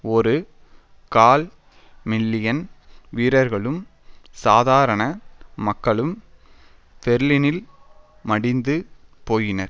ஒரு கால் மில்லியன் வீரர்களும் சாதாரண மக்களும் பெர்லினில் மடிந்து போயினர்